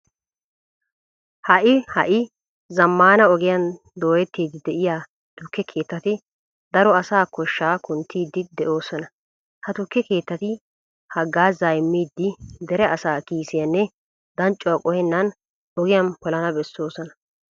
Ha"i ha"i zammaana ogiyan dooyettiiddi de'iya tukke keettati daro asaa koshshaa kunttiiddi de'oosona. Ha tukke keettati haggaazaa immiiddi dere asaa kiisiyanne danccuwa qohenna ogiyan polana bessoosona.